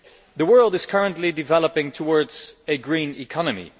The world is currently developing towards a green economy